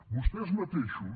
vostès mateixos